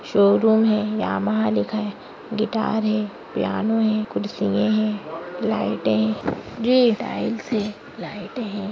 Showroom है Yamaha लिखा है गिटार है पियानो है कुर्सिये है लाइटे है ग्रीन टाइल्स है लाइटे है।